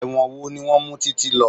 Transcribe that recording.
Ẹ̀wọ̀n wo ni wọn mú TíTí lọ?